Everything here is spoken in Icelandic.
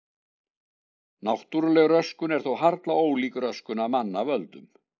Náttúrleg röskun er þó harla ólík röskun af mannavöldum.